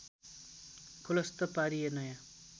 खुलस्त पारिए नयाँ